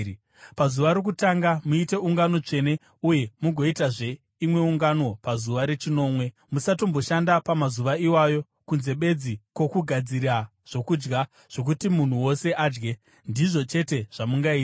Pazuva rokutanga muite ungano tsvene, uye mugoitazve imwe ungano pazuva rechinomwe. Musatomboshanda pamazuva iwayo, kunze bedzi kwokugadzira zvokudya zvokuti munhu wose adye, ndizvo chete zvamungaita.